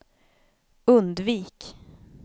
undvik